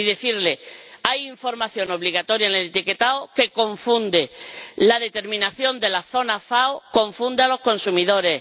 Y decirle que hay información obligatoria en el etiquetado que confunde la determinación de la zona FAO confunde a los consumidores